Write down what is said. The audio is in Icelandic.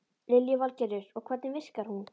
Lillý Valgerður: Og hvernig virkar hún?